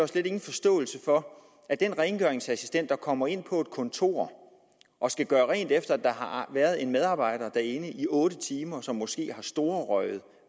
slet ingen forståelse for at den rengøringsassistent der kommer ind på et kontor og skal gøre rent efter at der har været en medarbejder derinde i otte timer som måske har storrøget